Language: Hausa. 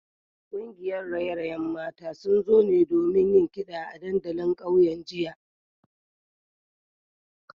Kungiyar raye-rayen mata sun zo ne domin yin kida a dandalin kauyen jiya